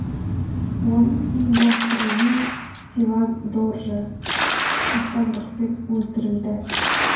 оның ұйымдастыруымен севан доржы қастандықпен өлтірілді